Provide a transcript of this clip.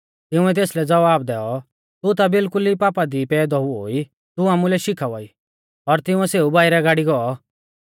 तिंउऐ तेसलै ज़वाब दैऔ तू ता बिल्कुल ई पापा दी पैदौ हुऔ ई तू आमुलै का शिखावा ई और तिंउऐ सेऊ बाइरै गाड़ी गौ